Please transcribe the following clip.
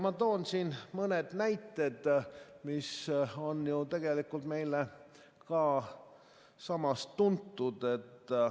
Ma toon siin mõned näited, mis on ju tegelikult meile ka tuntud.